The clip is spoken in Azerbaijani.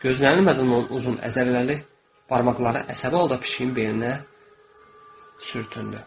Gözlənilmədən onun uzun əzələli barmaqları əsəbi halda pişiyin beyninə sürtündü.